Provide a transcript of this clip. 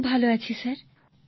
খুব ভালো আছি স্যার